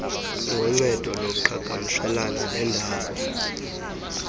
ngoncedo lokuqhagamshelana nendawo